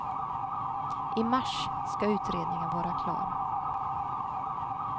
I mars ska utredningen vara klar.